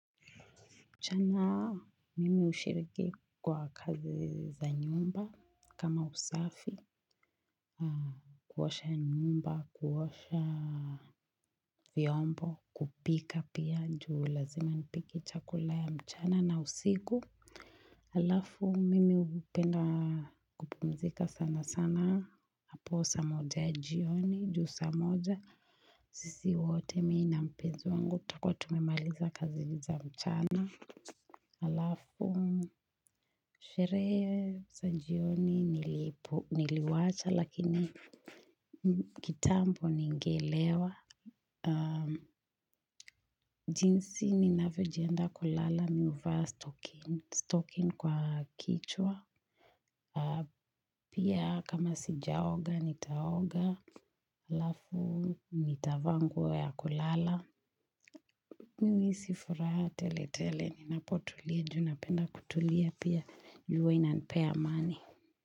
Mchana mimi hushiriki kwa kazi za nyumba kama usafi, kuosha nyumba, kuosha vyombo, kupika pia nju lazima nipike chakula ya mchana na usiku. Alafu mimi hupenda kupumzika sana sana. Hapo saa moja ya jioni, juu sa moja, sisi wote mii na mpenzi wangu takwa tumemaliza kazi za mchana. Alafu, sherehe za jioni niliwacha lakini kitambo ningelewa. Jinsi ninavyo jiandaa kulala mi huvaa stokin kwa kichwa. Pia kama sijaoga, nitaoga. Alafu, nitavaa nguo ya kulala. Mimi huisi furaha tele tele, ninapotulia, junapenda kutulia pia ju hua inanipea amani.